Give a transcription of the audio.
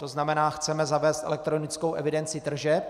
To znamená, chceme zavést elektronickou evidenci tržeb.